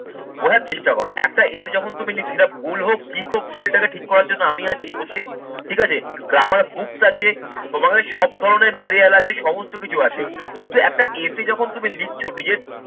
বোঝার চেষ্টা করো একটা essay যখন তুমি সেটা ভুল হোক, ঠিক হোক ভুলটাকে ঠিক করার জন্য আমি আছি বসে ঠিক আছে। Grammar books আছে তোমাদের সব ধরনের material আছে, সমস্ত কিছু আছে কিন্তু একটা essay এ যখন তুমি লিখছো, নিজের